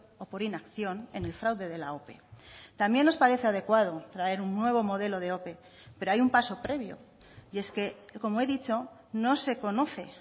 o por inacción en el fraude de la ope también nos parece adecuado traer un nuevo modelo de ope pero hay un paso previo y es que como he dicho no se conoce